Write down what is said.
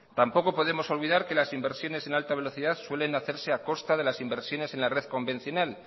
tampoco podemos olvidar que las inversiones en alta velocidad suele hacerse a costa de las inversiones en la red convencional